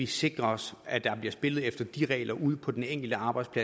sikre os at der bliver spillet efter de regler ude på den enkelte arbejdsplads